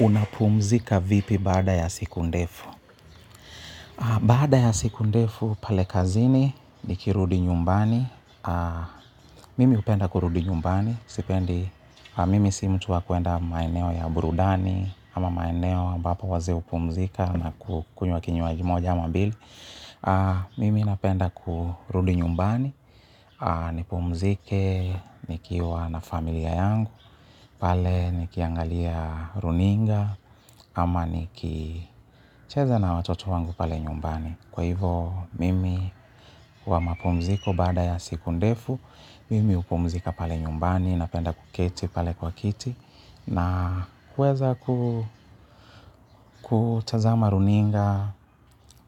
Unapumzika vipi bada ya siku ndefu? Baada ya siku ndefu pale kazini nikirudi nyumbani. Mimi hupenda kurudi nyumbani. Sipendi, mimi si mtu wakuenda maeneo ya burudani ama maeneo ambapo wazee hupumzika na ku kunywa kinywaji moja ama mbili. Mimi napenda kurudi nyumbani. Nipumzike, nikiwa na familia yangu. Pale nikiangalia runinga. Ama nikicheza na watoto wangu pale nyumbani. Kwa hivo mimi wa mapumziko bada ya siku ndefu. Mimi hupumzika pale nyumbani napenda kuketi pale kwa kiti. Na kuweza kutazama runinga,